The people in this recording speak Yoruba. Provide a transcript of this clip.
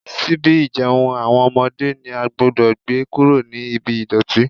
Ṣíbí ìjẹun àwọn ọmọdé ni a gbúdọ̀ gbé kúrò ní ibi ìdọ̀tí.